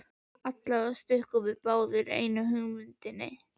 Allavega stukkum við báðir í einu á hugmyndina.